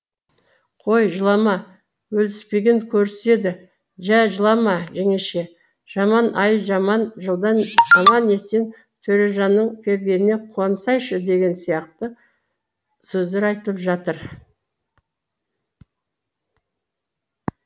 қой жылама өліспеген көріседі жә жылама жеңеше жаман ай жаман жылдан аман есен төрежанның келгеніне қуансайшы деген сияқты сөздер айтылып жатыр